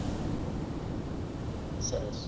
સરસ.